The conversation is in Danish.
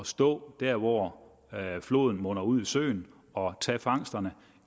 stå der hvor floden munder ud i søen og tage fangsterne